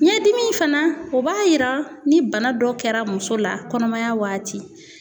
Ɲɛdimi in fana o b'a yira ni bana dɔ kɛra muso la kɔnɔmaya waati.